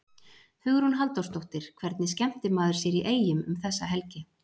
Hugrún Halldórsdóttir: Hvernig skemmtir maður sér í Eyjum um þessa helgi?